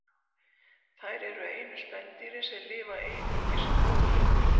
Þær eru einu spendýrin sem lifa einungis á blóði.